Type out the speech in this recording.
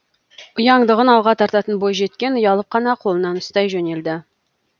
ұяңдығын алға тартатын бойжеткен ұялып қана қолынан ұстай жөнелді